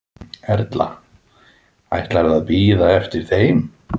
Erla: Ætlarðu að bíða eftir þeim?